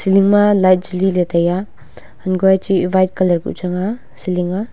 lingma light jaliley taiya hankoi a chih white colour colour kuh chang ah ceiling ahh.